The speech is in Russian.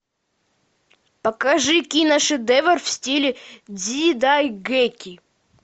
покажи киношедевр в стиле дзидайгэки